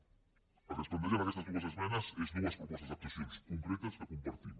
el que es planteja en aquestes dues esmenes són dues propostes d’actuacions concretes que compartim